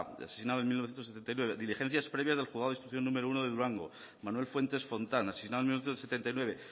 asesinado en mil novecientos setenta y nueve diligencias previas del juzgado de instrucción número uno de durango manuel fuentes fontán asesinado en mil novecientos setenta y nueve